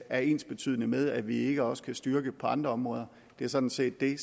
er ensbetydende med at vi ikke også kan styrke på andre områder det er sådan set det